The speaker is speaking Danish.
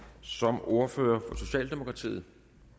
som ordfører for socialdemokratiet